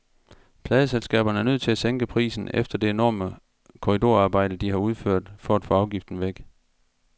Pladeselskaberne er nødt til at sænke prisen efter det enorme korridorarbejde, de har udført for at få afgiften væk.